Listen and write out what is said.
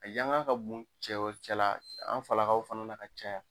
A yangan ka bon cɛw cɛ la, an falakaw fana na ka caya.